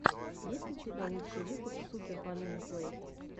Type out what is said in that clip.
есть ли у тебя лучший выпуск супер полины плэй